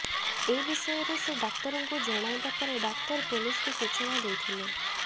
ଏ ବିଷୟରେ ସେ ଡ଼ାକ୍ତରଙ୍କୁ ଜଣାଇବା ପରେ ଡ଼ାକ୍ତର ପୁଲିସକୁ ସୂଚନା ଦେଇଥିଲେ